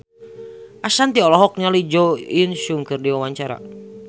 Ashanti olohok ningali Jo In Sung keur diwawancara